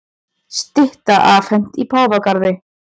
Stytta afhent í Páfagarði